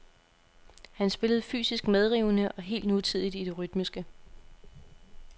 Han spillede fysisk medrivende og helt nutidigt i det rytmiske.